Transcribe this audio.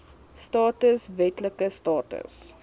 status wetlike status